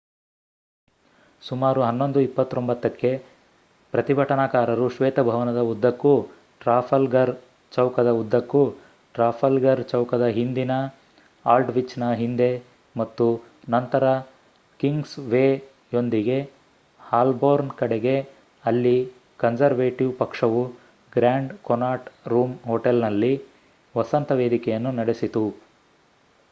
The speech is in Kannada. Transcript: ಸುಮಾರು 11:29 ಕ್ಕೆ ಪ್ರತಿಭಟನಾಕಾರರು ಶ್ವೇತಭವನದ ಉದ್ದಕ್ಕೂ ಟ್ರಾಫಲ್ಗರ್ ಚೌಕದ ಉದ್ದಕ್ಕೂ ಟ್ರಾಫಲ್ಗರ್ ಚೌಕದ ಹಿಂದಿನ ಆಲ್ಡ್‌ವಿಚ್‌ನ ಹಿಂದೆ ಮತ್ತು ನಂತರ ಕಿಂಗ್ಸ್‌ವೇಯೊಂದಿಗೆ ಹಾಲ್ಬೋರ್ನ್ ಕಡೆಗೆ ಅಲ್ಲಿ ಕನ್ಸರ್ವೇಟಿವ್ ಪಕ್ಷವು ಗ್ರ್ಯಾಂಡ್ ಕೊನಾಟ್ ರೂಮ್ ಹೋಟೆಲ್ನಲ್ಲಿ ವಸಂತ ವೇದಿಕೆಯನ್ನು ನಡೆಸಿತು